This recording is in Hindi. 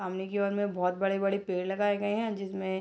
सामने की ओर में बहुत बड़े-बड़े पेड़ लगाए गए हैं जिसमें --